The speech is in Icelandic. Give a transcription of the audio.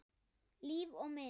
Líf og mynd